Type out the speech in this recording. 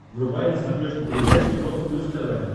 врубай на смотрешке передачу европа плюс тв